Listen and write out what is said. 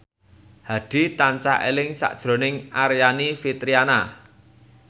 Hadi tansah eling sakjroning Aryani Fitriana